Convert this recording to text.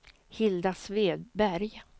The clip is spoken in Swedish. Hilda Svedberg